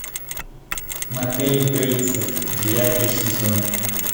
мотель бейтсов девятый сезон